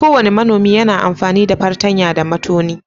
Kowane manomi yana amfani da fartanya da matoni.